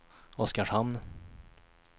Oskarshamn